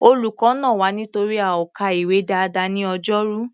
Olùkọ́ nà wá nítorí a ò ka ìwé dáadáa ní Ọjọ́rú.